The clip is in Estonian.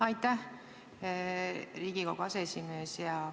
Aitäh, Riigikogu aseesimees!